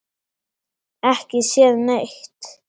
Ekki séð neitt.